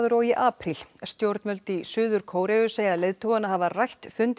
og í apríl stjórnvöld í Suður Kóreu segja leiðtogana hafa rætt fund